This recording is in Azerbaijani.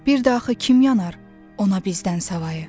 Bir də axı kim yanar ona bizdən savayı?